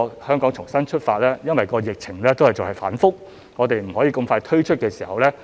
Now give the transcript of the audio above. "香港重新出發"因疫情反覆而未能盡快推出。